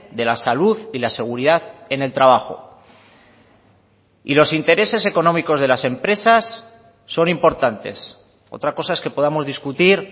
de la salud y la seguridad en el trabajo y los intereses económicos de las empresas son importantes otra cosa es que podamos discutir